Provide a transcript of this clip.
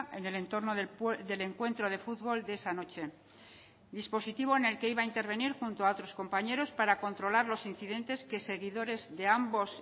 en el entorno del encuentro de fútbol de esa noche dispositivo en el que iba a intervenir junto a otros compañeros para controlar los incidentes que seguidores de ambos